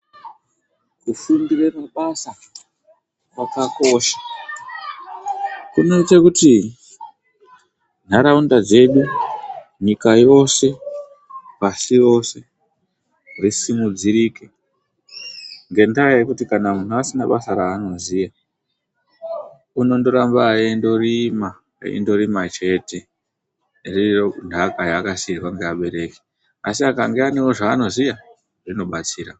Kufundire mabasa kwakakosha kunoite kuti nharaunda dzedu nyika yose pasi rose risimudzirike, ngendaa yekuti kana muntu asina basa raanoziya, unondoramba eindorima, eindorima chete, iriyo nthaka yakasiirwa ngeabereki. Asi akanga aanewo zvaanoziya, zvinobatsira.